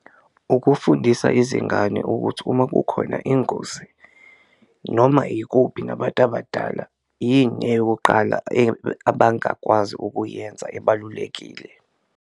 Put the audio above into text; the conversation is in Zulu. Ukufundisa izingane ukuthi uma kukhona ingozi noma ikuphi nabantu abadala, yini eyokuqala abangakwazi ukuyenza ebalulekile.